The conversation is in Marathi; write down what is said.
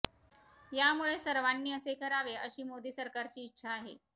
यामुळे सर्वांनी असे करावे अशी मोदी सरकारची इच्छा आहे